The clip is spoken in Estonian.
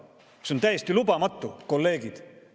See on täiesti lubamatu, kolleegid.